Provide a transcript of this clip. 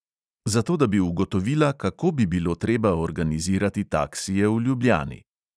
Zato da bi ugotovila, kako bi bilo treba organizirati taksije v ljubljani.